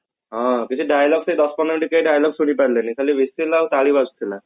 ହଁ କିଛି dialog ସେଇ ଦଶ ପନ୍ଦର minute time କେହି dialog ଶୁଣି ପରିଲେନି ଖାଲି whistle ଆଉ ତାଳି ବାଜୁଥିଲା